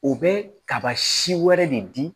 U bɛ kaba si wɛrɛ de di